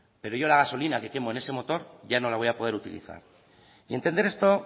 pero yo la gasolina que quemo en ese motor ya no la voy a poder utilizar y entender esto